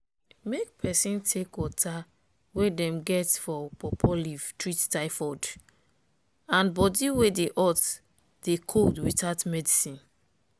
make peson take water wey dem get for pawpaw leaf treat tyfod and body wey dey hot dey cold without medicine.